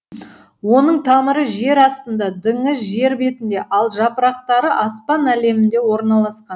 оның тамыры жер астында діңі жер бетінде ал жапырақтары аспан әлемінде орналасқан